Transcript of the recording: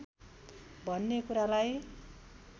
भन्ने कुरालाई